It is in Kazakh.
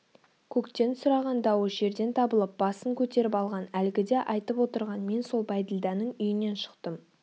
көктен сұраған дауы жерден табылып басын көтеріп алған әлгіде айтып отырған мен сол бәйділданың үйінен шықтым